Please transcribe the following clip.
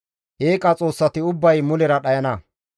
Eeqa xoossati ubbay mulera dhayana.